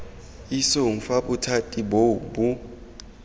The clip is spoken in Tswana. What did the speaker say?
isong fa bothati boo bo